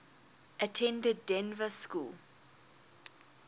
attended dynevor school